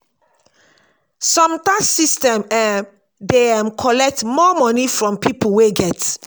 some tax system um dey um collect more money from pipo wey get